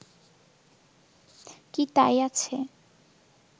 কি তাই আছে